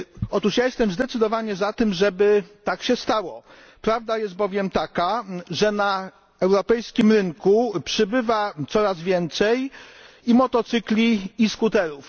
Otóż ja jestem zdecydowanie za tym, żeby tak się stało. Prawda jest bowiem taka, że na europejskim rynku przybywa coraz więcej i motocykli, i skuterów.